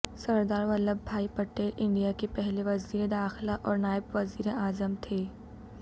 سردار Vallabhbhai Patel India کے پہلے وزیر داخلہ اور نائب وزیر اعظم تھے